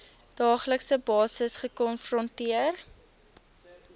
daaglikse basis gekonfronteer